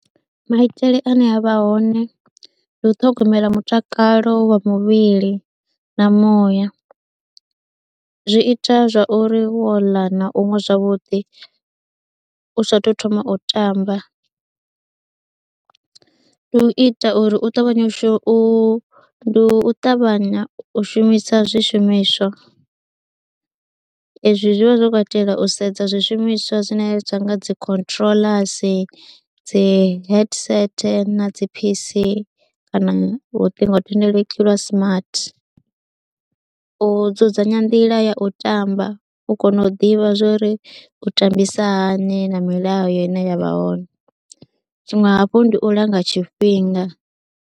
Maitele ane a vha hone, ndi u ṱhogomela mutakalo wa muvhili na muya zwi ita zwa uri wo ḽa na u nwa zwavhuḓi u saathu thoma u tamba, ndi u ita uri u ṱavhanye u shuma u ndi u ṱavhanya u shumisa zwishumiswa ezwi zwi vha zwo katela u sedza zwishumiswa zwine zwa nga dzi controllers, dzi headset na pc kana luṱingothendeleki lwa smart. U dzudzanya nḓila ya u tamba u kona u ḓivha zwori u tambisa hani na milayo ine ya vha hone, tshiṅwe hafhu ndi u langa tshifhinga.